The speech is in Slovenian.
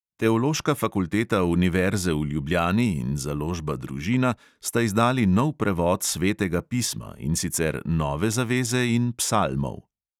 Teološka fakulteta univerze v ljubljani in založba družina sta izdali nov prevod svetega pisma, in sicer nove zaveze in psalmov.